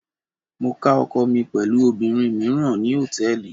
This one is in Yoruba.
Mo ká ọkọ mi pẹ̀lú obìnrin míràn ní Hòtẹ́lìì.